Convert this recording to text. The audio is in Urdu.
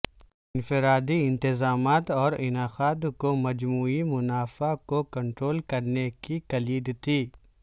انفرادی انتظامات اور انعقاد کو مجموعی منافع کو کنٹرول کرنے کی کلید تھی